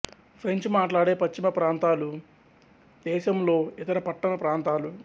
French మాట్లాడే పశ్చిమ ప్రాంతాలు దేశంలో ఇతర పట్టణ ప్రాంతాలు